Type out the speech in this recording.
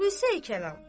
Xülasə-i-kəlam.